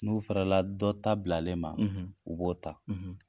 N'u fɛrɛla dɔ ta bilalen ma, u b'o ta.